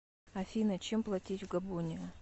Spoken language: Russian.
афина чем платить в габоне